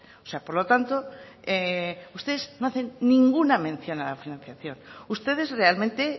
o sea por lo tanto ustedes no hacen ninguna mención a la financiación ustedes realmente